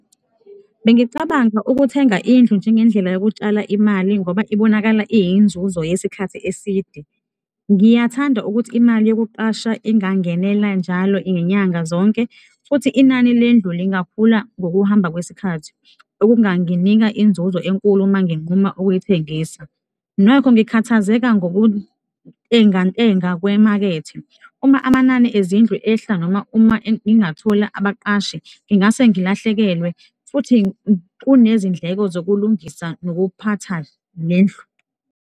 Bengicabanga ukuthenga indlu njengendlela yokutshala imali ngoba ibonakala iyinzuzo yesikhathi eside. Ngiyathanda ukuthi imali yokuqasha ingangenela njalo iy'nyanga zonke futhi inani lendlu lingakhula ngokuhamba kwesikhathi okunganginika inzuzo enkulu uma nginquma ukuyithengisa. Nokho ngikhathazeka ngokuntengantenga kwemakethe, uma amanani ezindlu ehla noma uma ngingathola abaqashi, ngingase ngilahlekelwe futhi kunezindleko zokulungisa nokuphatha nendlu.